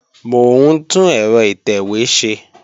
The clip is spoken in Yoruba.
Mò ń tún ẹ̀rọ ìtẹ̀wé ṣe